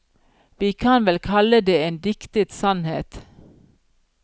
Vi kan vel kalle det en diktet sannhet.